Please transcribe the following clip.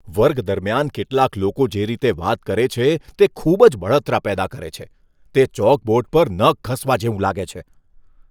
વર્ગ દરમિયાન કેટલાક લોકો જે રીતે વાત કરે છે તે ખૂબ જ બળતરા પેદા કરે છે, તે ચોકબોર્ડ પર નખ ઘસવા જેવું લાગે છે.